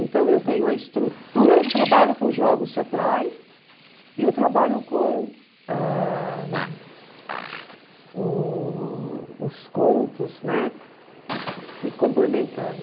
Então eu tenho a estrutura do trabalho com jogos teatrais e o trabalho com ãh o os contos, né, se complementando.